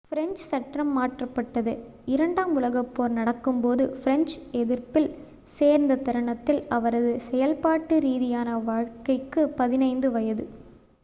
French சட்டம் மாற்றப்பட்டது இரண்டாம் உலகப்போர் நடக்கும்போது பிரெஞ்சு எதிர்ப்பில் சேர்ந்த தருணத்தில் அவரது செயல்பாட்டு ரீதியான வாழ்க்கைக்கு 15 வயது